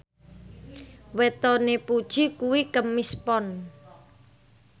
wetone Puji kuwi Kemis Pon